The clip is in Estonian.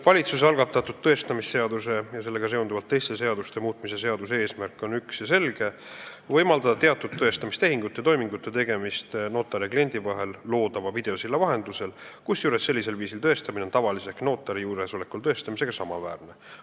Valitsuse algatatud tõestamisseaduse muutmise ja sellega seonduvalt teiste seaduste muutmise seaduse eelnõu eesmärk on üks ja selge: võimaldada teatud tõestamistehingute ja -toimingute tegemist notari ja kliendi vahel loodava videosilla vahendusel, kusjuures sellisel viisil tõestamine on tavalise ehk notari juuresolekul tõestamisega samaväärne.